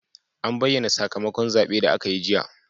An bayyana sakamakon zaben da aka yi jiya.